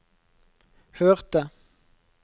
hørte